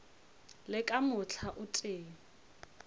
le ka mohla o tee